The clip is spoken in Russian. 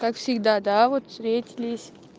как всегда да вот встретились